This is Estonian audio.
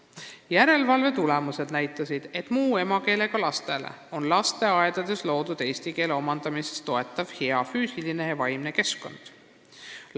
Järelevalve tulemustest nähtub, et muu emakeelega lastele on lasteaedades loodud eesti keele omandamist toetav hea füüsiline ja vaimne keskkond.